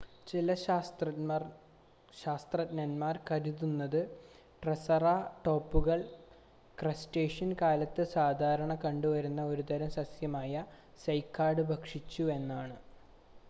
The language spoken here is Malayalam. ചില ശാസ്ത്രജ്ഞന്മാർ കരുതുന്നത് ട്രൈസെറാടോപ്പുകൾ ക്രെറ്റാഷ്യസ് കാലത്ത് സാധാരണ കണ്ടുവന്ന ഒരു തരം സസ്യമായ സൈക്കാഡ് ഭക്ഷിച്ചു എന്നാണ്